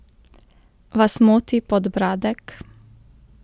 Vas moti podbradek?